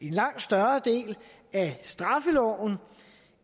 en langt større del af straffeloven